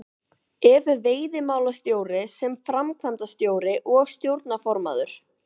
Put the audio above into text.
Ef veiðimálastjóri sem framkvæmdastjóri og stjórnarformaður